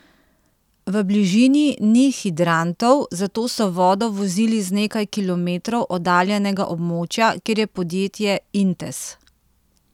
V bližini ni hidrantov, zato so vodo vozili z nekaj kilometrov oddaljenega območja, kjer je podjetje Intes.